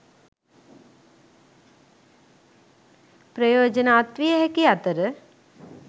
ප්‍රයෝජන අත්විය හැකි අතර